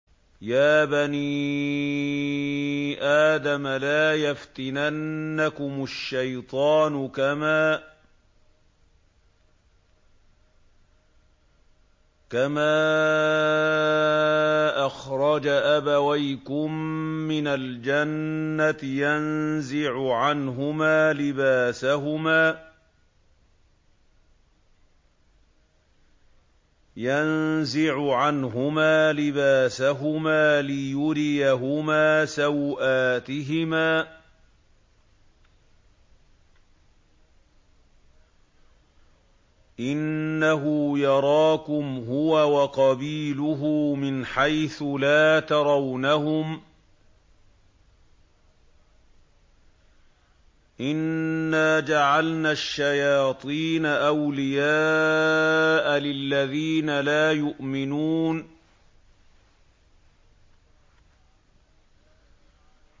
يَا بَنِي آدَمَ لَا يَفْتِنَنَّكُمُ الشَّيْطَانُ كَمَا أَخْرَجَ أَبَوَيْكُم مِّنَ الْجَنَّةِ يَنزِعُ عَنْهُمَا لِبَاسَهُمَا لِيُرِيَهُمَا سَوْآتِهِمَا ۗ إِنَّهُ يَرَاكُمْ هُوَ وَقَبِيلُهُ مِنْ حَيْثُ لَا تَرَوْنَهُمْ ۗ إِنَّا جَعَلْنَا الشَّيَاطِينَ أَوْلِيَاءَ لِلَّذِينَ لَا يُؤْمِنُونَ